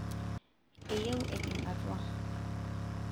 eyieu ejing' atua